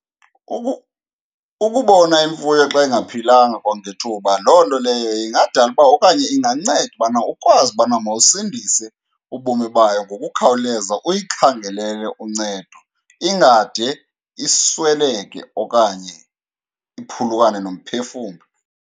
Ukubona imfuyo xa ingaphilanga kwangethuba loo nto leyo ingadala uba okanye inganceda ubana ukwazi ubana mawusindise ubomi bayo ngokukhawuleza, uyikhangelele uncedo ingade isweleke okanye iphulukane nomphefumlo.